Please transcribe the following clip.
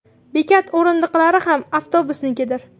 Bekat o‘rindiqlari ham avtobusnikidir.